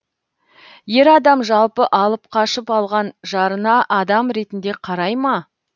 ер адам жалпы алып қашып алған жарына адам ретінде қарай ма